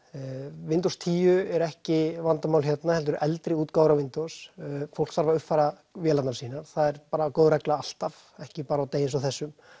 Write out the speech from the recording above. Windows tíu er ekki vandamál hérna heldur eldri útgáfur af Windows fólk þarf að uppfæra vélarnar sínar það er bara góð regla alltaf ekki bara á degi eins og þessum